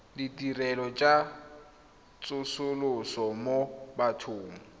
ditirelo tsa tsosoloso mo bathong